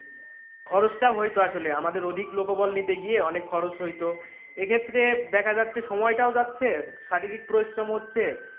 খরচটাও হইতো আসলে আমাদের অধিক লোকবল নিতে গিয়ে অনেক খরচ হইতো এই ক্ষেত্রে দেখা যাচ্ছে সময়টা যাচ্ছে শারীরিক পরিশ্রমও হচ্ছে,